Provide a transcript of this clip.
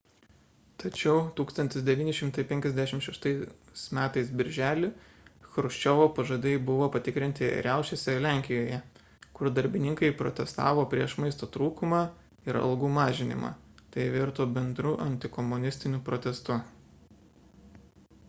tačiau 1956 m birželį chruščiovo pažadai buvo patikrinti riaušėse lenkijoje kur darbininkai protestavo prieš maisto trūkumą ir algų mažinimą – tai virto bendru antikomunistiniu protestu